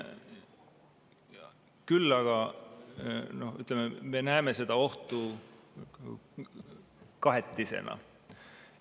Küll aga me näeme seda ohtu kahetisena.